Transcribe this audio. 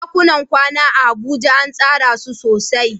ɗakunan kwana a Abuja an tsara su sosai.